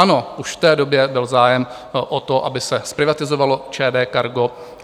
Ano, už v té době byl zájem o to, aby se zprivatizovalo ČD Cargo.